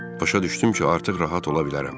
Başa düşdüm ki, artıq rahat ola bilərəm.